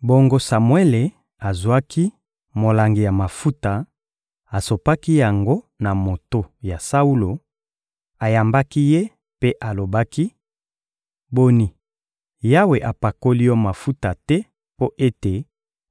Bongo Samuele azwaki molangi ya mafuta, asopaki yango na moto ya Saulo, ayambaki ye mpe alobaki: «Boni, Yawe apakoli yo mafuta te mpo ete